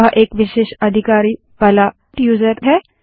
वह एक विशेषाधिकारों वाला यूज़र है